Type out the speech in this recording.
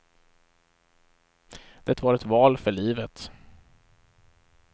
Det var ett val för livet.